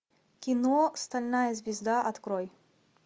кино стальная звезда открой